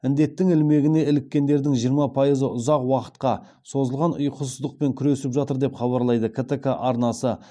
індеттің ілмегіне іліккендердің жиырма пайызы ұзақ уақытқа созылған ұйқысыздықпен күресіп жатыр деп хабарлайды ктк арнасы